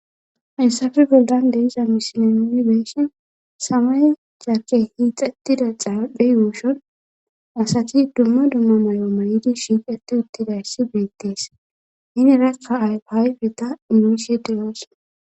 haysafe bollan de'iza misile nuni beeyshin samay cakke hiixettida xaaphe yuushon asati dumma dumma may7o malidi shiiqeti uttidayssi beettees hinerakka ayhaayfeta inuusie deyoos